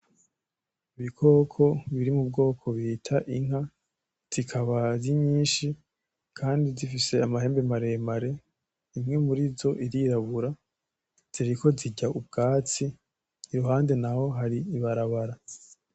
Ibikoko biri m’ubwoko bita inka zikaba arinyinshi kandi zifise amahembe maremare imwe murizo irirabura ziriko zirya ubwatsi iruhande naho hari ibarabara.